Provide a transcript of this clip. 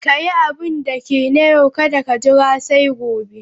Ka yi abinda ke na yau, kada ka jira sai gobe.